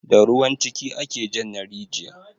Da ruwan ciki ake jan na rijiya